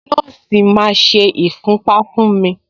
Nọ́ọ̀sì máa ṣe ìfúnpá fún mi.